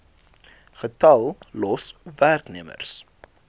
getal los werknemers